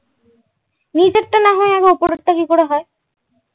উপরের টা কিভাবে হয়।